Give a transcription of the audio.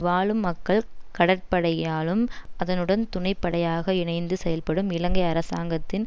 வாழும் மக்கள் கடற்படையாலும் அதனுடன் துணைப்படையாக இணைந்து செயற்படும் இலங்கை அரசாங்கத்தின்